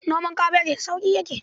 Noman kabeji da sauƙi yake..